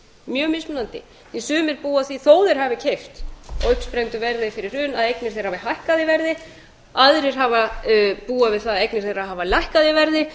mjög mismunandi sumir búa að því þótt þeir hafi keypt á uppsprengdu verði fyrir hrun að eignir þeirra hafa hækkað í verði aðrir búa við að eignir þeirra hafa lækkað í verði